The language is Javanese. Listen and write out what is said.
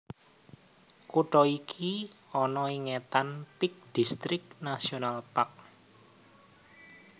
Kutha iki ana ing étan Peak District National Park